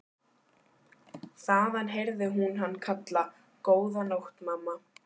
Þaðan heyrði hún hann kalla: Góða nótt mamma.